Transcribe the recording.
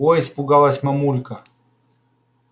ой испугалась мамулька